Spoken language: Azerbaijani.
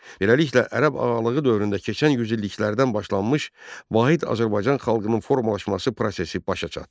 Beləliklə, Ərəb ağalığı dövründə keçən yüzilliklərdən başlanmış vahid Azərbaycan xalqının formalaşması prosesi başa çatdı.